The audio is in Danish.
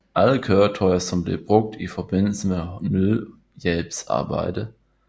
Alle køretøjer som blev brugt i forbindelse med nødhjælpsarbejde